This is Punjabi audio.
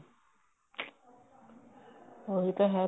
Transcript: ਉਹੀ ਤਾਂ ਹੈ